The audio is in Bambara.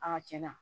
Aa cɛn na